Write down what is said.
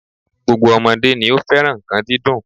Gbogbo ọmọdé ni ó fẹ́ràn nǹkan dídùn